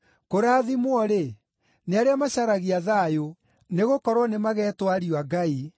Kũrathimwo-rĩ, nĩ arĩa macaragia thayũ, nĩgũkorwo nĩmagetwo ariũ a Ngai.